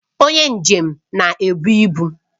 Onye njem na-ebu ibu